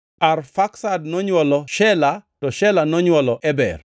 Arfaksad nonywolo Shela, to Shela nonywolo Eber.